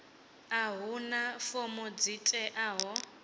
a huna fomo dzi teaho